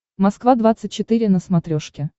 москва двадцать четыре на смотрешке